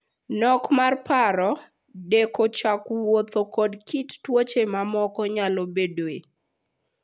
Nok mar paro, deko chak wuoth koda kit tuoche mamoko nyalo bedoe.